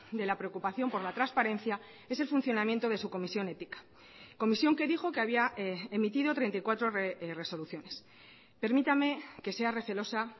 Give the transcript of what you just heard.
de la preocupación por la transparencia es el funcionamiento de su comisión ética comisión que dijo que había emitido treinta y cuatro resoluciones permítame que sea recelosa